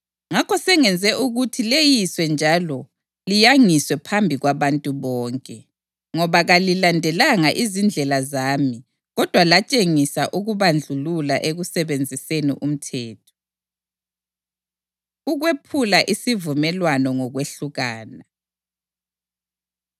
“Ngakho sengenze ukuthi leyiswe njalo liyangiswe phambi kwabantu bonke, ngoba kalilandelanga izindlela zami kodwa latshengisa ukubandlulula ekusebenziseni umthetho.” Ukwephula Isivumelwano Ngokwehlukana